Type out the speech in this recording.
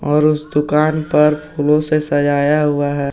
और उस दुकान पर फूलों से सजाया हुआ है।